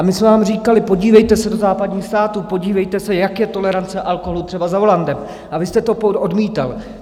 A my jsme vám říkali, podívejte se do západních států, podívejte se, jak je tolerance alkoholu třeba za volantem, a vy jste to odmítal.